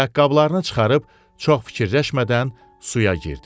Ayaqqabılarını çıxarıb çox fikirləşmədən suya girdi.